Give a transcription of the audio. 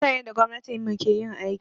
Bana son yanda gwamnatin mu ke yin aiki.